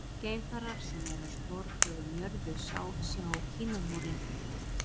Geimfarar sem eru á sporbaug um jörðu sjá Kínamúrinn.